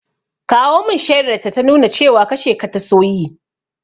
Kawo mun shaidar ta ta nuna cewa kashe ka ta so yi!